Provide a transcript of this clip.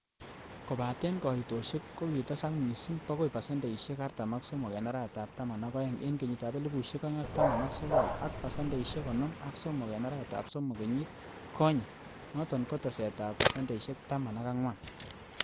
kobaten koitosiek ko kitesak mising bokoi pasendeisiek artam ak somok en arawetab taman ak oeng en kenyitab elfusiek oeng ak taman ak sogol, ak pasendeisiek konoom ak somok an arawetab somok kenyit konye, noton ko teset ab pasendeisiek taman ak angwan.